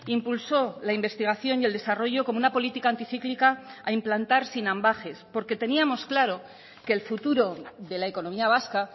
impulsó la investigación y el desarrollo como una política anticíclica a implantar sin ambages porque teníamos claro que el futuro de la economía vasca